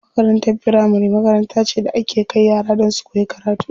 Makarantar firamari makaranta ce da ake kai yara don su koyi karatu.